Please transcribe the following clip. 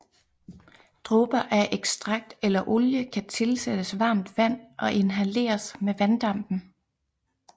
Dråber af ekstrakt eller olie kan tilsættes varmt vand og inhaleres med vanddampen